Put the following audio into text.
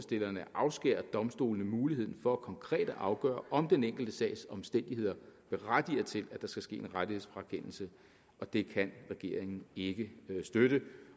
afskære domstolene muligheden for konkret at afgøre om den enkelte sags omstændigheder berettiger til at der skal ske en rettighedsfrakendelse det kan regeringen ikke støtte